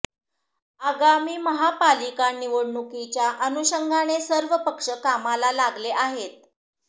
आगामी महापालिका निवडणुकीच्या अनुषंगाने सर्व पक्ष कामाला लागले आहेत